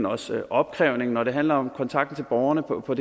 også opkrævning og når det handler om kontakten til borgerne på på